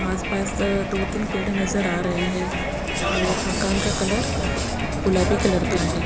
आसपास त दो तीन पेड़े नज़र आ रहे हैं और मकान का कलर गुलाबी कलर का है।